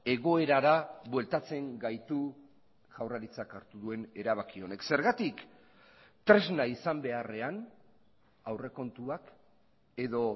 egoerara bueltatzen gaitu jaurlaritzak hartu duen erabaki honek zergatik tresna izan beharrean aurrekontuak edo